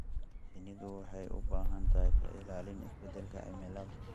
Shinnidu waxay u baahan tahay ka ilaalin isbeddelka cimilada.